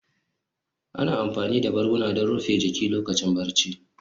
Ana amfani da barguna don rufe jiki lokacin barci